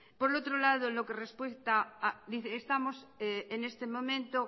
por otro lado en lo que respuesta dice estamos en este momento